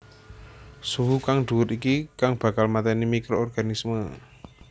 Suhu kang dhuwur iki kang bakal mateni microorganisme